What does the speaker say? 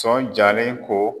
sɔn jalen ko